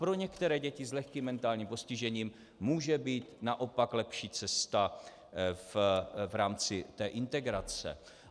Pro některé děti s lehkým mentálním postižením může být naopak lepší cesta v rámci té integrace.